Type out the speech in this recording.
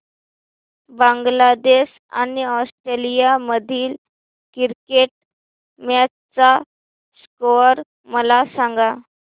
बांगलादेश आणि ऑस्ट्रेलिया मधील cricket match चा स्कोअर मला सांगा